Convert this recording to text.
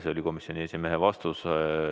See oli komisjoni esimehe vastus.